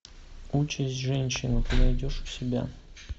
участь женщины ты найдешь у себя